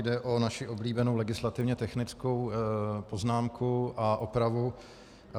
Jde o naši oblíbenou legislativně technickou poznámku a opravu.